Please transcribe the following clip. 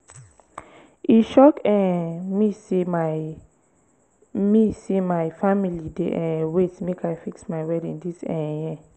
e shock um me sey my me sey my family dey um wait make i fix my wedding dis um year